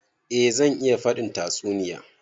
Eh zan iya faɗin tatsuniya.